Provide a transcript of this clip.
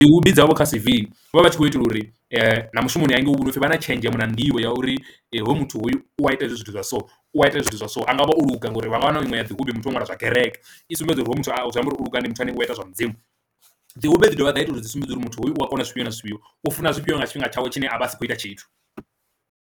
Hobby dzavho kha C_V vhavha vhatshi khou itela uri na mushumoni hangei upfhi vha na tshenzhemo na nḓivho ya uri hoyu muthu hoyu wa ita hezwi zwithu zwa so u ita zwithu zwa so, angavha o luga ngori vha nga wana iṅwe ya dzi hupfhi muthu wa nwala zwa kereke i sumbedza uri hoyu muthu zwi amba uri ndi muthu ane wa ita zwa mudzimu. Dzi hobby dzi dovha dza ita uri dzi sumbedza uri muthu hoyo u a kona zwifhio na zwifhio u funa zwifhio nga tshifhinga tshawe tshine a vha a sa khou ita tshithu.